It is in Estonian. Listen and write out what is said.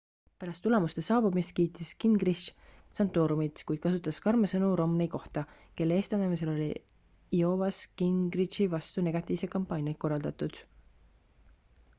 pärast tulemuste saabumist kiitis gingrich santorumit kuid kasutas karme sõnu romney kohta kelle eestvedamisel oli iowas gingrichi vastu negatiivseid kampaaniaid korraldatud